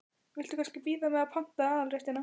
Viltu kannski bíða með að panta aðalréttina?